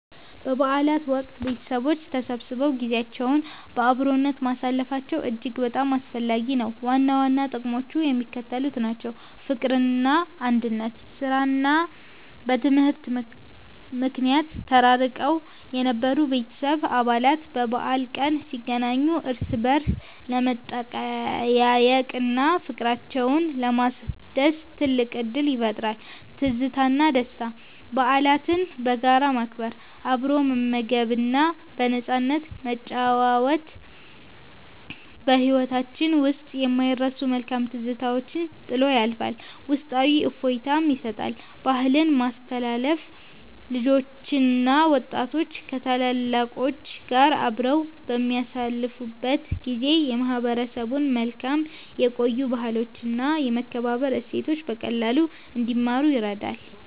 በበዓላት ወቅት ቤተሰቦች ተሰብስበው ጊዜያቸውን በአብሮነት ማሳለፋቸው እጅግ በጣም አስፈላጊ ነው። ዋና ዋና ጥቅሞቹ የሚከተሉት ናቸው፦ ፍቅርና አንድነት፦ በሥራና በትምህርት ምክንያት ተራርቀው የነበሩ የቤተሰብ አባላት በበዓል ቀን ሲገናኙ እርስ በርስ ለመጠያየቅና ፍቅራቸውን ለማደስ ትልቅ ዕድል ይፈጥራል። ትዝታና ደስታ፦ በዓላትን በጋራ ማክበር፣ አብሮ መመገብና በነፃነት መጨዋወት በሕይወታችን ውስጥ የማይረሱ መልካም ትዝታዎችን ጥሎ ያልፋል፤ ውስጣዊ እፎይታም ይሰጣል። ባህልን ማስተላለፍ፦ ልጆችና ወጣቶች ከታላላቆች ጋር አብረው በሚያሳልፉበት ጊዜ የማህበረሰቡን መልካም የቆዩ ባህሎችና የመከባበር እሴቶች በቀላሉ እንዲማሩ ይረዳል።